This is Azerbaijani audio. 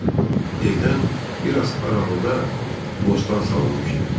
Evdən bir az aralıda bostan salınmışdı.